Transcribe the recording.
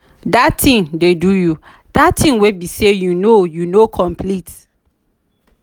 dat thing dey do you? dat thing wey be say you no you no complete.